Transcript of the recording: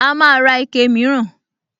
A máa ra ike mìíràn